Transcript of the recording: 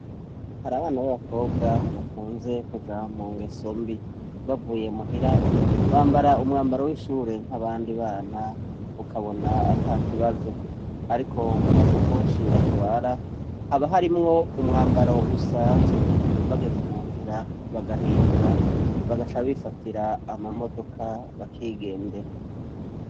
Hari abana b'abakobwa bakunze kuja mu ngeso mbi. Bavuye muhira bambara umwambaro w'ishure nk'abandi bana ukabona ata kibazo. Ariko mu masakoshi batwara haba harimwo umwambaro usanzwe bageze mu nzira bagahindura bagaca bifatira amamodoka bakigendera.